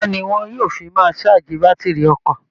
Iná ni wọn yóò fi máa ṣáàjì bátìrì ọkọ̀